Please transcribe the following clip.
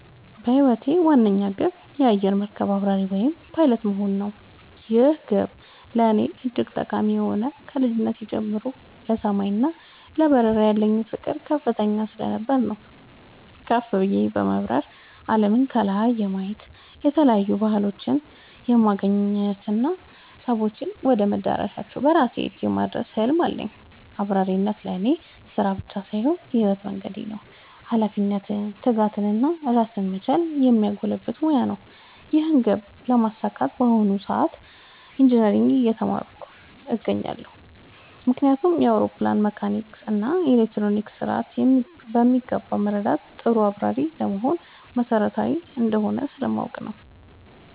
የህይወቴ ዋነኛ ግብ የአየር መርከብ አብራሪ (Pilot) መሆን ነው። ይህ ግብ ለእኔ እጅግ ጠቃሚ የሆነው ከልጅነቴ ጀምሮ ለሰማይ እና ለበረራ ያለኝ ፍቅር ከፍተኛ ስለነበር ነው። ከፍ ብዬ በመብረር አለምን ከላይ የማየት፣ የተለያዩ ባህሎችን የማገናኘት እና ሰዎችን ወደ መዳረሻቸው በራሴ እጅ የማድረስ ህልም አለኝ። አብራሪነት ለእኔ ስራ ብቻ ሳይሆን የህይወት መንገዴ ነው - ኃላፊነትን፣ ትጋትን እና ራስን መቻልን የሚያጎለብት ሙያ ነው። ይህን ግብ ለማሳካት በአሁኑ ጊዜ ኢንጂነሪንግ (Engineering) ትምህርት እየተማርኩ ነው። ምክንያቱም የአውሮፕላንን መካኒካል እና ኤሌክትሮኒክስ ስርዓት በሚገባ መረዳት ጥሩ አብራሪ ለመሆን መሰረታዊ እንደሆነ ስለምቆጠር ነው።